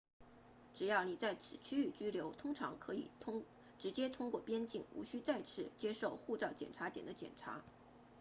只要你在此区域居留通常可以直接通过边境无需再次接受护照检查点的检查